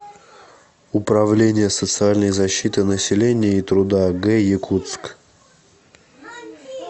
управление социальной защиты населения и труда г якутск